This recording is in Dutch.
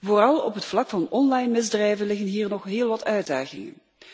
Vooral op het vlak van online misdrijven liggen hier nog heel wat uitdagingen.